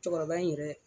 Cɛkɔrɔba in yɛrɛ